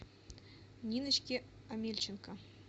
ниночке омельченко